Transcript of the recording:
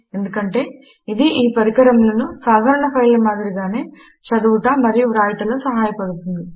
ఎందుకంటే ఇది ఈ పరికరములను సాధారణ ఫైళ్ళ మాదిరిగానే చదువుట మరియు వ్రాయుటలో సహాయపడుతుంది